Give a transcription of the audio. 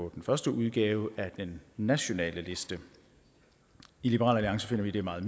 den første udgave af den nationale liste i liberal alliance finder vi det meget